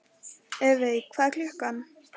Evey, hvað er klukkan?